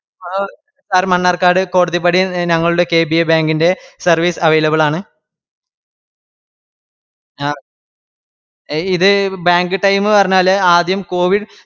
ആഹ് sir Mannarkkad കോടതിപ്പടിയെന്നെ ഞങ്ങളുടെ KBA Bank ൻറെ services available ആണ് ഇത് bank time പറഞ്ഞാല് ആദ്യം Covid